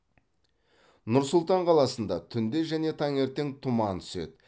нұр сұлтан қаласында түнде және таңертең тұман түседі